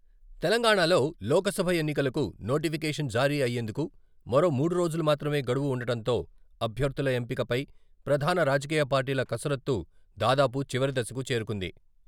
తెలంగాణాలో లోక్ సభ ఎన్నికలకు నోటిఫికేషన్ జారీ అయ్యేందుకు మరో మూడు రోజులు మాత్రమే గడువు వుండటంతో అభ్యర్థుల ఎంపికపై ప్రధాన రాజకీయ పార్టీల కసరత్తు దాదాపు చివరి దశకు చేరుకుంది.